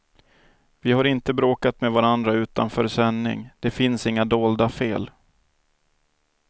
Vi har inte bråkat med varandra utanför sändning, det finns inga dolda fel.